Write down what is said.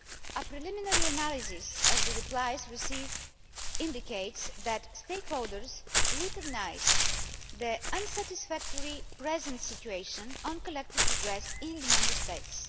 A preliminary analysis of the replies received indicates that stakeholders recognise the unsatisfactory present situation on collective redress in the Member States.